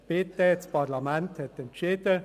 Bitte, das Parlament hat entschieden.